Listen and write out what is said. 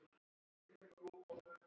spurði Andri.